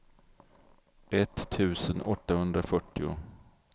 etttusen åttahundrafyrtio